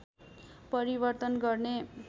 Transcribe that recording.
परिवर्तन गर्ने